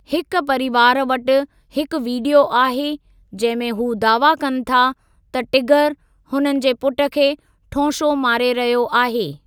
हिकु परिवार वटि हिकु वीडियो आहे जंहिं में हू दावा कनि था त 'टिगर' हुननि जे पुटु खे ठौंशो मारे रहियो आहे।